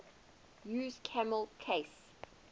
used camel case